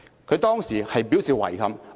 他當時表示遺憾。